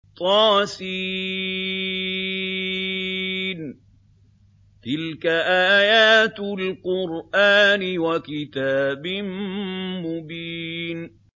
طس ۚ تِلْكَ آيَاتُ الْقُرْآنِ وَكِتَابٍ مُّبِينٍ